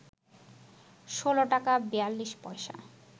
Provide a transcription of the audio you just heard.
১৬ টাকা ৪২ পয়সা